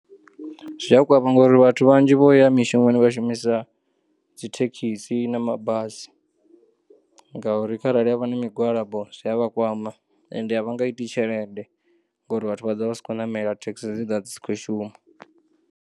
Zwi a kwama ngauri vhathu vhanzhi vhouya mishumoni vha shumisa dzithekisi na mabasi, ngauri kharali havha na migwalabo zwi a vha kwama ende a vha nga iti tshelede ngori vhathu vha ḓovha vha si khou namela, thekisi dzi ḓovha dzi si khou shuma.